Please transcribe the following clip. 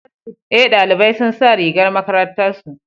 Eh, ɗalibai sun sa rigar makarantar su.